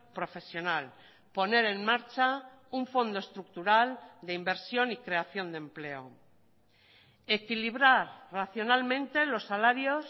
profesional poner en marcha un fondo estructural de inversión y creación de empleo equilibrar racionalmente los salarios